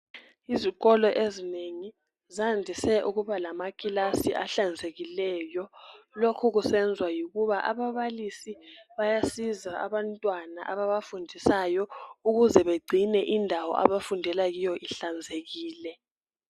Izikolo ezinengi zandise ukuba lamakilasi ahlanzekileyo lokhu kusenzwa yikuba ababalisi bayasiza abantwana ababafundisayo ukuze begcine indawo abafundela kiyo ihlanzekile